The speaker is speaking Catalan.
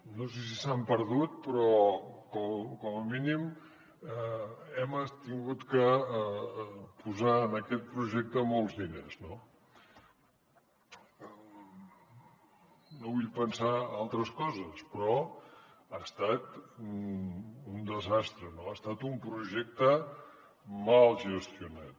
no sé si s’han perdut però com a mínim hem hagut de posar en aquest projecte molts diners no no vull pensar altres coses però ha estat un desastre ha estat un projecte mal gestionat